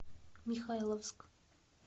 михайловск